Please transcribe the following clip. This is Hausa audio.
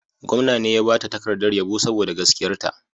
Gwamna ne ya ba ta takardar yabo saboda gaskiyarta.